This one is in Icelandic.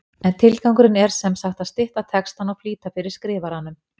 En tilgangurinn er sem sagt að stytta textann og flýta fyrir skrifaranum.